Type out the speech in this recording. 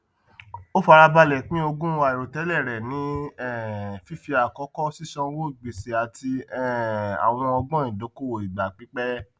ó fara balẹ pín ogún àìròtẹlẹ rẹ ní um fífi àkọkọ sísanwó gbèsè àti um àwọn ọgbọn ìdókòwò ìgbà pípẹ